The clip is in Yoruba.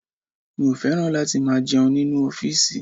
Mi ò fẹ́ràn láti máa jẹun nínú ọ́fìsì